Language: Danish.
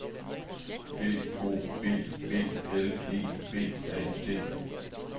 B O B B L E B A D